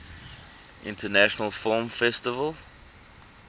international film festival